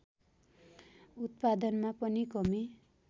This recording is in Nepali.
उत्पादनमा पनि कमी